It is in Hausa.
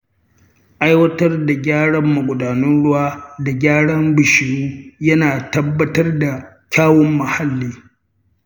Aiwatar da gyaran magudanan ruwa da gyara bishiyu yana tabbatar da kyawun mahalli.